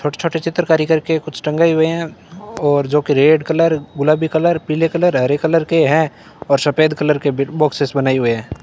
छोटे छोटे चित्रकारी करके कुछ टंगाए हुए हैं और जो कि रेड कलर गुलाबी कलर पीले कलर हरे कलर के हैं और सफेद कलर के बॉक्सेस बनाए हुए हैं।